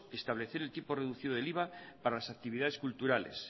establecer el tipo reducido del iva para las actividades culturales